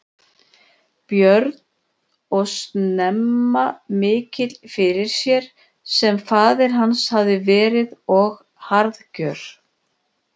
Björn og snemma mikill fyrir sér sem faðir hans hafði verið og harðgjör.